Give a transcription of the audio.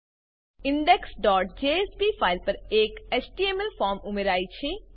indexજેએસપી file પર એક HTML form ઉમેરાય છે